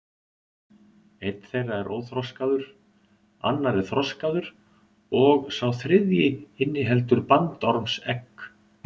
Einn þeirra er óþroskaður, annar er þroskaður og sá þriðji inniheldur bandormsegg.